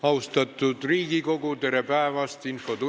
Austatud Riigikogu, tere päevast!